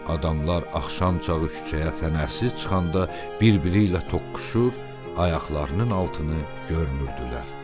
Adamlar axşamçağı küçəyə fənərsiz çıxanda bir-biri ilə toqquşur, ayaqlarının altını görmürdülər.